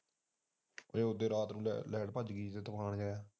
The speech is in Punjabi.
ਜੇ ਉਦਾ ਰਾਤ ਨੂੰ light ਭਜ ਗਈ